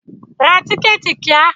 Ra tíkẹ̀tì kíá!